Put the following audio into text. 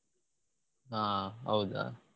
ಹಾ ಹೌದಾ?